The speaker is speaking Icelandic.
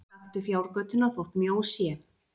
Gakktu fjárgötuna þótt mjó sé!